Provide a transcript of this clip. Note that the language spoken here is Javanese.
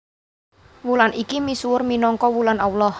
Wulan iki misuwur minangka wulan Allah